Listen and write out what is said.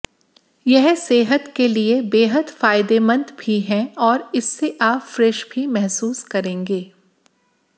यह सेहत के लिए बेहद फायदेमंद भी है और इससे आप फ्रेश भी महसूस करेंगे